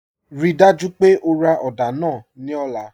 Ríì dájú pé ó rá odà náà ní ọ̀lá.